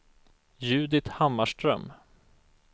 Judit Hammarström